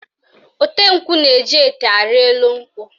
Ote nkwụ na-eji ete arị elu nkwụ